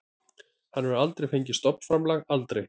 Hann hefur aldrei fengið stofnframlag, aldrei.